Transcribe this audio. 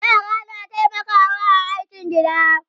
yara suna taimakawa a aikin gida